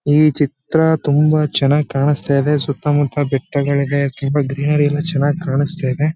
ಈ ಚಿತ್ರ ತುಂಬಾ ಚನ್ನಾಗ್ ಕಾಣಸ್ತ ಇದೆ. ಸುತ್ತಮುತ್ತ ಬೆಟ್ಟಗಳ್ ಇದೆ ಗ್ರೀನರಿ ಎಲ್ಲ ತುಂಬಾ ಚನ್ನಾಗ್ ಕಾಣಸ್ತ ಇದೆ.